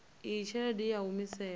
iyi tshelede i a humiselwa